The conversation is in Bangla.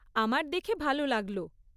আমার দেখে ভাল লাগল।